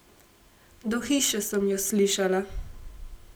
Do hiše sem ju slišala.